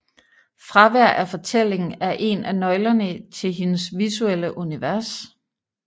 Fravær af fortælling er en af nøglerne til hendes visuelle univers